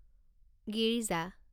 Girija